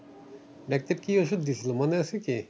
Doctor কি ওষুধ দিয়েছিলো মনে আছে কি?